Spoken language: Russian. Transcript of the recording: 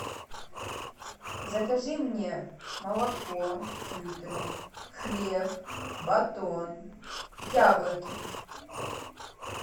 закажи мне молоко литр хлеб батон яблоки